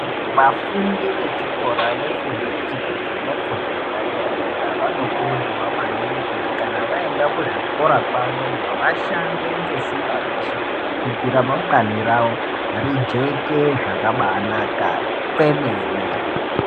Vafundi vechikora vefundo yechipiri nefundo yepadera-dera, vanokurudzirwa maningi kuti kana vaendza kuzvikora kwavoyo vashande ngesimba reshe kuti remangwani ravo rijeke zvakabanaka kwemene.